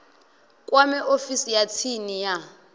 kwame ofisi ya tsini ya